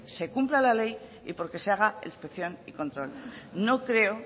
se cumpla la ley y porque se haga la inspección y control no creo